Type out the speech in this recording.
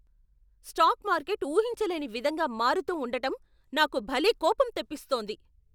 Stock market ఊహించలేని విధంగా మారుతూ ఉండటం నాకు భలే కోపం తెప్పిస్తోంది!